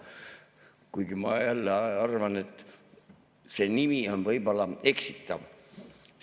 Kuigi ma arvan, et see nimi on võib-olla eksitav.